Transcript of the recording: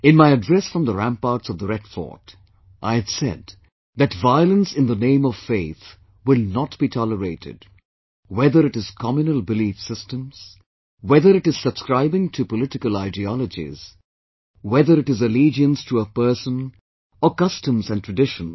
In my address from the ramparts of the Red Fort, I had said that violence in the name of faith will not be tolerated, whether it is communal belief systems, whether it is subscribing to political ideologies, whether it is allegiance to a person or customs and traditions